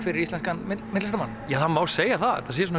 fyrir íslenskan myndlistarmann já það má segja það að þetta sé svona